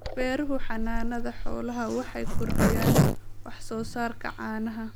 Beeraha Xannaanada Xoolaha waxay kordhiyaan wax soo saarka caanaha.